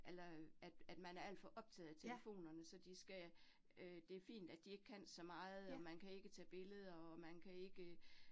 Eller at at man er alt for optaget af telefonerne, så de skal øh det fint, at de ikke kan så meget, og man kan ikke tage billeder, og man kan ikke